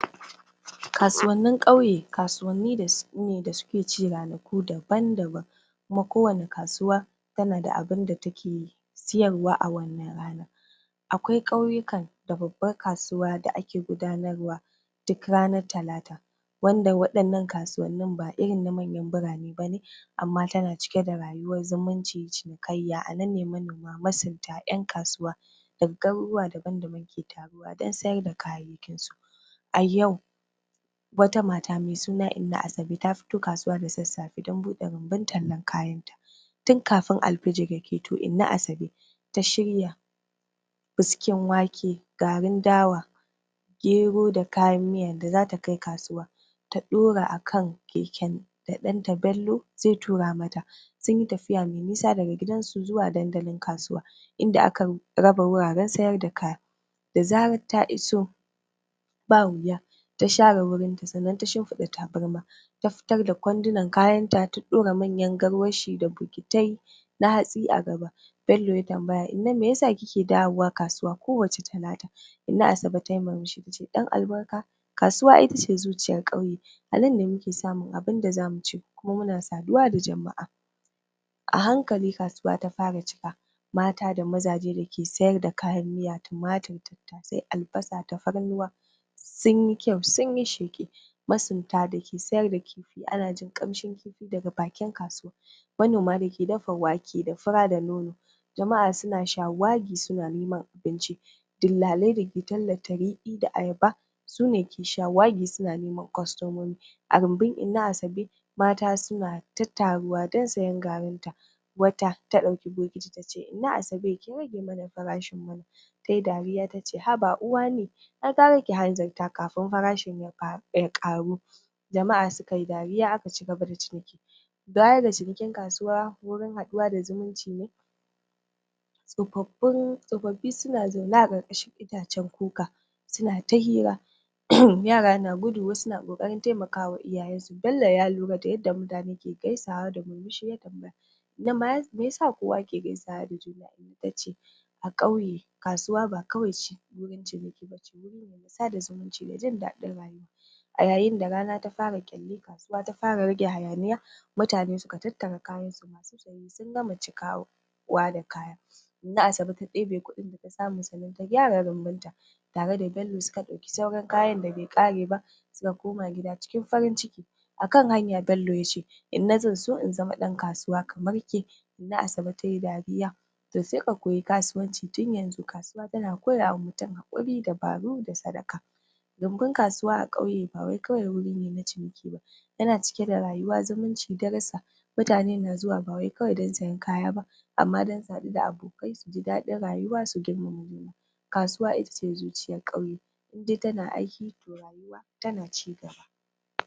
Kasuwannin ƙauye kasuwani ne da su ne da suke ci ranaku daban daban kuma kowanne kasuwa tana da abunda da take yi siyarwa a wannan rana akwai ƙauyikan da babbar kasuwa da ake gudanarwa duk ranar talata wanda waɗannan kasuwannin ba irin na manyan birane bane amma tana cike da rayuwar zumunci cinikaiya, a nan ne manoma, masunta, 'yan kasuwa daga gariruwa daban daban ta taruwa dan siyar da kayayyakinsu a yau wata mata mai suna Inna Asabe ta fito kasuwa da saffaye dan buɗe rumbun tallar kayanta tun kafin alfijir ya keto, Inna Azabe ta shirya Biskin Wake garin Dawa Gero da kayan miyan da zata kai kasuwa ta ɗora akan keken da ɗanta Bello zai tura mata sunyi tafiya mai nisa daga gidan su zuwa dandalin kasuwa inda aka raba wuraren siyar da kaya da zarar ta iso ba wuya ta share wurin ta sannan ta shimfiɗa tabarma ta fitar da kwandinan kayan ta, ta ɗora manyan garwashi da bokitai na hatsi da gaba Bello ya tambaya, Inna meyasa kike dawowa kasauwa kowacce talata Inna Asabe tayi murmushi tace ɗan albarka kasuwa ai itace zuciyar ƙauye anan ne mukw samun abinda zamu ci kuma muna saduwa da jama'a a hankali kasuwa ta fara cika mata da mazaje dake siyar da kayan miya, tumatur, tattasai, albasa, tafarnuwa sunyi kyau sunyi sheƙi masunta dake siyar da kifi ana jin ƙamshin kifin daga bakin kasuwa manoma dake dafa wake da fura da nono jama'a suna shawagi suna neman abinci dillalai dake tallata Riɗi da Ayaba sune ke shawagi suna neman kwastomomi a rumbum inna Asabe mata suna ta taruwa dan siyan garin ta wata ta ɗauki bokiti tace Inna Asabe ki rage mana farashin wannan tayi dariya tace Haba Uwani ai gara ki hanzarta kafin farashin yafa ya ƙaru jama'a sukayi dariya aka cigaba da ciniki baya ga cinikin kasuwa wurin haɗuwa da zumunci ne tsofaffin tsofaffi suna zaune na ƙarƙashin itacen kuku suna ta hira yara na gudu wasu na ƙoƙarin taimaka iyayen su, Bello ya lura da yadda mutane ke gaisawa da murmushi ya tambaya na mas Inna meyasa kowa yake gaisawa da juna tace a ƙauye kasuwa ba kawai ci wurin ciniki bace wurin wasa sada zumunci ne jin daɗin rayuwa a yayin da rana ta fara ƙyalli kasuwa ta fara raje hayaniya mutane suka tattara kayansu masu siye sun gama cikawo kowa da kayan sa Inna Asabe ta ɗebe kuɗin da ta samu sannan ta gyara rumbun ta tare da Bello suka ɗauki sauran kayan da bai ƙare ba suka koma gida cikin farin ciki akan hanya Bello yace Inna zan so in zama ɗan kasuwa kamar ke Inna Asabe tayi dariya to sai ka koyi kasuwanci tun yanzu, kasuwa tana koyawa mutum haƙuri. dubaru da sadaka Rumbin kasuwa a ƙauye ba wai kawai wurine na ciniki ba yana cike da rayuwa, zumunci, darrisa mutane na zuwa ba wai kawai dan siyan kaya ba amma dan su haɗu da abokai suji daɗin rayuwa su girmama juna kasuwa itace zuciyar ƙauye idai tana aiki to rayuwa fa tana ji gaba